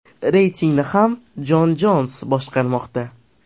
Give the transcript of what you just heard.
Reytingni ham Jon Jons boshqarmoqda.